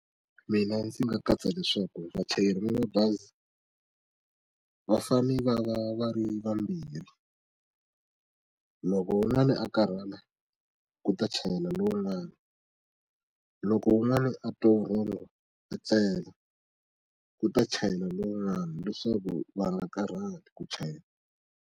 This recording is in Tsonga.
Mina ndzi nga katsa leswaku vachayeri va mabazi va fane va va va ri vambirhi loko wun'wani a karhala ku ta chayela lowun'wani loko wun'wani a twa vurhongo a tlela ku ta chayela lowun'wani leswaku va nga karhali ku chayela.